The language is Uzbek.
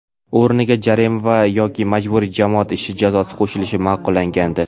o‘rniga jarima yoki majburiy jamoat ishi jazosi qo‘shilishi ma’qullangandi.